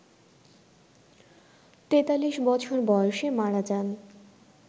৪৩ বছর বয়সে মারা যান